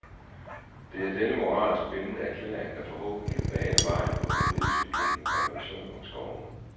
Det er denne moralsk bindende erklæring, der forhåbentlig kan bane vejen for en juridisk forpligtende konvention om skovene.